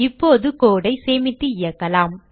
இப்போது code ஐ சேமித்து இயக்கலாம்